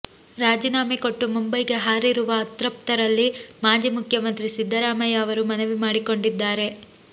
ರಾಜೀನಾಮೆ ಕೊಟ್ಟು ಮುಂಬೈಗೆ ಹಾರಿರುವ ಅತೃಪ್ತರಲ್ಲಿ ಮಾಜಿ ಮುಖ್ಯಮಂತ್ರಿ ಸಿದ್ದರಾಮಯ್ಯ ಅವರು ಮನವಿ ಮಾಡಿಕೊಂಡಿದ್ದಾರೆ